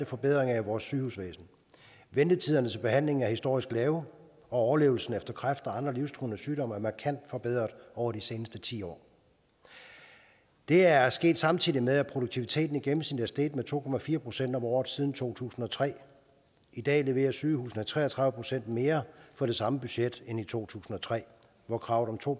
forbedringer af vores sygehusvæsen ventetiderne til behandling er historisk lave og overlevelsen efter kræft og andre livstruende sygdomme er markant forbedret over de seneste ti år det er sket samtidig med at produktiviteten i gennemsnit er steget med to procent om året siden to tusind og tre i dag leverer sygehusene tre og tredive procent mere for det samme budget end i to tusind og tre hvor kravet om to